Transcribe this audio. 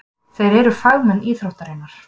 Þeir eru fagmenn íþróttarinnar.